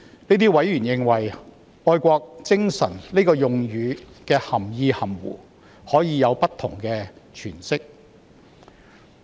這些委員認為，"愛國精神"的用語涵義含糊，可以有不同的詮釋。